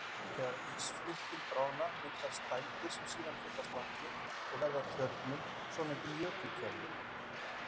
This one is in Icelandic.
Þegar ísflikkin bráðna myndast dældir sem síðan fyllast vatni og verða að tjörnum, svonefndum jökulkerum.